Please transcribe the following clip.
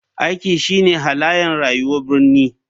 Aiki shine halayen rayuwar birni.